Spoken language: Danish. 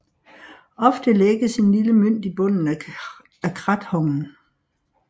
Ofte lægges en lille mønt i bunden af krathongen